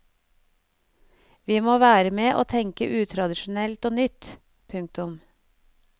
Vi må være med og tenke utradisjonelt og nytt. punktum